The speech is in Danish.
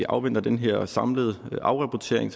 afventer den her samlede afrapportering